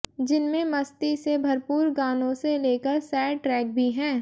जिनमें मस्ती से भरपूर गानों से लेकर सैड ट्रैक भी है